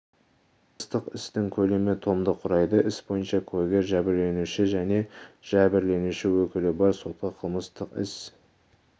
қылмыстық істің көлемі томды құрайды іс бойынша куәгер жәбірленуші және жәбірленуші өкілі бар сотқа қылмыстық іс